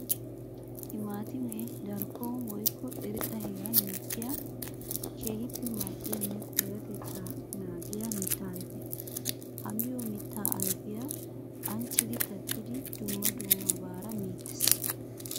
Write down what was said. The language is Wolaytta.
Timaatime darkkon woykko irxxa heeran mokkiya keehippe mali'yanne payatetta naagiya mitta ayfe. Ha miyo mitta ayfiya ancciddi kattiddi dumma dummabara meetes.